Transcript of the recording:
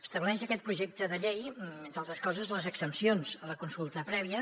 estableix aquest projecte de llei entre altres coses les exempcions a la consulta prèvia